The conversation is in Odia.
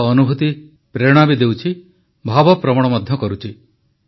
ତାଙ୍କ ଅନୁଭୁତି ପ୍ରେରଣା ବି ଦେଉଛି ଭାବପ୍ରବଣ ମଧ୍ୟ କରୁଛି